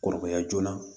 Kɔrɔbaya joona